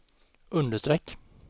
understreck